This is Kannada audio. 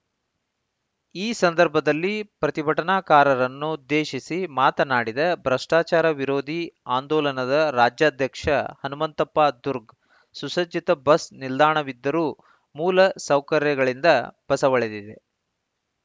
ಈ ಸಂದರ್ಭದಲ್ಲಿ ಪ್ರತಿಭಟನಾಕಾರರನ್ನುದ್ದೇಶಿಸಿ ಮಾತನಾಡಿದ ಭ್ರಷ್ಟಾಚಾರ ವಿರೋಧಿ ಆಂದೋಲನದ ರಾಜ್ಯಾಧ್ಯಕ್ಷ ಹನುಮಂತಪ್ಪ ದುರ್ಗ್ ಸುಸಜ್ಜಿತ ಬಸ್‌ ನಿಲ್ದಾಣವಿದ್ದರೂ ಮೂಲ ಸೌಕರ್ಯಗಳಿಂದ ಬಸವಳಿದಿದೆ